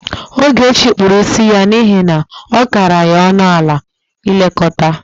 Ogechi kpuru isi ya n'ihe na ọ kara ya ọnụ ala ilekọta.